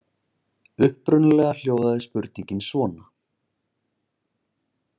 Upprunalega hljóðaði spurningin svona